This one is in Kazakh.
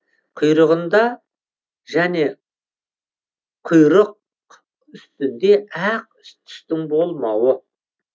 құйрығында және құйрықүстінде ақ түстің болмауы